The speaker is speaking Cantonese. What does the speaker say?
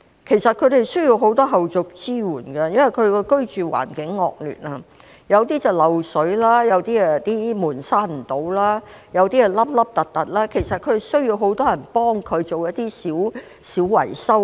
其實，他們需要很多後續支援，因為居住環境惡劣，有些是漏水，有些門關不上、凹凸不平，需要很多人幫忙進行一些小維修。